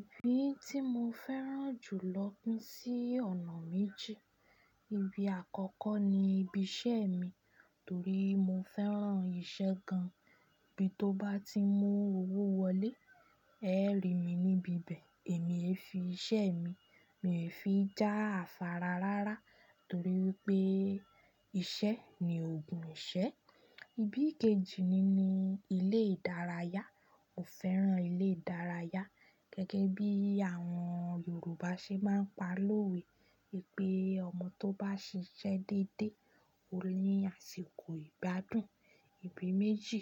Ibi tí mo fẹ́ràn jù lọ kú sí ọ̀nà méjì. Ibi àkọ́kọ́ ni ibi iṣẹ́ mi, torí mo fẹ́ràn iṣẹ́ gan. Ibi tó bá ti mú owó wọlé, ẹ ri mi níbi ibẹ̀, èmi ẹ fi iṣẹ́ mi, mi ò fi já afárá rárá, torí wípé iṣẹ́ ni ògùn iṣẹ́. Ibi kejì ni ilé ìdárayá. Mo fẹ́ràn ilé ìdárayá gẹ́gẹ́ bí àwọn Yorùbá ṣe máa ń pa lówé, pé ọmọ tó bá ṣiṣẹ́ dédé ó ní àsìkò ìbádùn. Ibi méjì